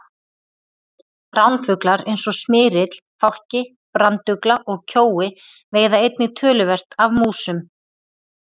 Ránfuglar eins og smyrill, fálki, brandugla og kjói veiða einnig töluvert af músum.